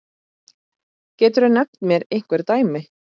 Geturðu nefnt mér einhver dæmi?